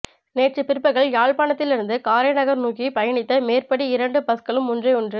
நேற்று பிற்பகல் யாழ்ப்பாணத்தில் இருந்து காரைநகர் நோக்கி பயணித்த மேற்படி இரண்டு பஸ்களும் ஒன்றையொன்று